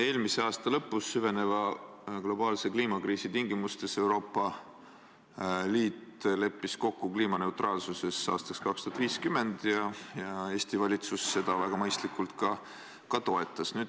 Eelmise aasta lõpus leppis Euroopa Liit süveneva globaalse kliimakriisi tingimustes kokku kliimaneutraalsuses aastaks 2050 ja Eesti valitsus seda väga mõistlikult ka toetas.